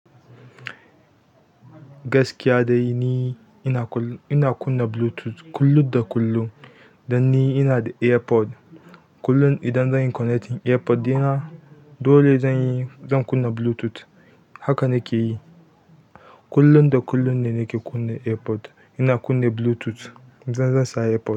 Gaskiya dai ni ina kunna Bluetooth kullun da kullun. Dan ni ina da AirPod. Kullun idan zan yi connecting AirPod ɗina, dole zan yi, zan kunna Bluetooth. Haka nake yi. Kullun da kullun ne nake kunna AirPod. Ina kunna Bluetooth, idan zan sa AirPod.